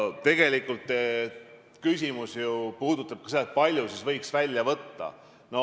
Tegelikult küsimus ju puudutabki seda, kui palju siis võiks välja võtta.